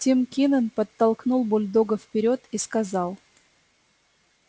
тим кинен подтолкнул бульдога вперёд и сказал